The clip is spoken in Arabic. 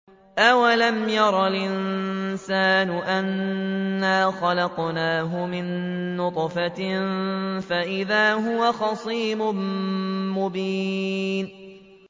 أَوَلَمْ يَرَ الْإِنسَانُ أَنَّا خَلَقْنَاهُ مِن نُّطْفَةٍ فَإِذَا هُوَ خَصِيمٌ مُّبِينٌ